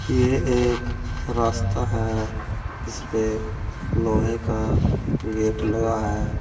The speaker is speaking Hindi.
ये एक रास्ता है जिसपे लोहे का गेट लगा है।